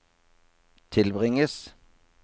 tilbringes